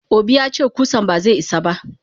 Obi yace kusan baze isa ba.